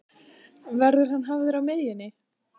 Verður hann hafður á miðjunni?